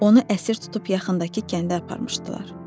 Onu əsir tutub yaxındakı kəndə aparmışdılar.